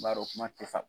N b'a dɔn kuma tɛ sa